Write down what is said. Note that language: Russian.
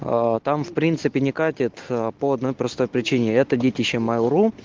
аа там в принципе не катит по одной простой причине это детище майл ру